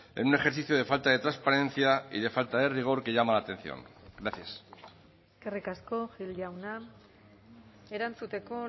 en un ejercicio de falta de transparencia y de falta de rigor que llama la atención gracias eskerrik asko gil jauna erantzuteko